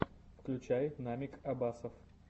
включай намик абасов